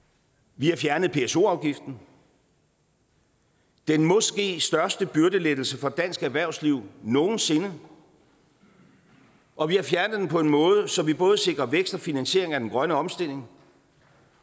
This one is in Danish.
vi har fjernet pso afgiften den måske største byrdelettelse for dansk erhvervsliv nogen sinde og vi har fjernet den på en måde så vi både sikrer vækst og finansiering af den grønne omstilling